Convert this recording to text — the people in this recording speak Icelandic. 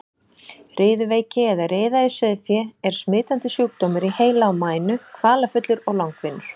Riðuveiki eða riða í sauðfé er smitandi sjúkdómur í heila og mænu, kvalafullur og langvinnur.